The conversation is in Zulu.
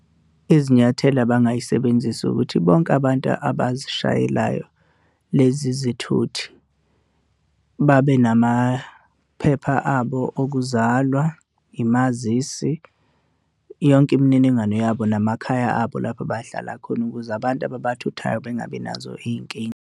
Izinyathelo abangayisebenzisi ukuthi bonke abantu abazishayelayo lezi zithuthi babe namaphepha abo okuzalwa, umazisi, yonke imininingwane yabo namakhaya abo lapho abahlala khona ukuze abantu ababathuthayo bengabi nazo iy'nkinga.